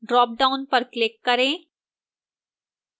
dropdown पर click करें